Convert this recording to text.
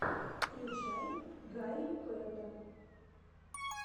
включай гарри пэта